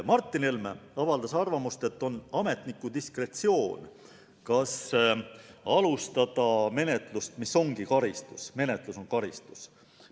Martin Helme avaldas arvamust, et on ametniku diskretsioon, kas alustada menetlust, mis ongi karistus – menetlus on karistus.